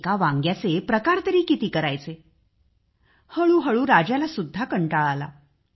एका वांग्याचे तरी किती प्रकार करायचे हळूहळू राजाला सुद्धा कंटाळा आला